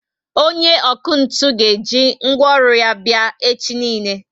Onye ọkụ ntụ ga eji ngwaọrụ ya were bia echi niile